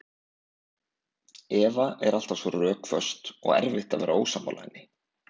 Eva er alltaf svo rökföst og erfitt að vera ósammála henni.